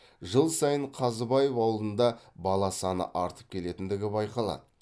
жыл сайын қазыбаев ауылында бала саны артып келетіндігі байқалады